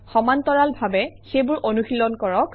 সমান্তৰালভাৱে সেইবোৰ অনুশীলন কৰক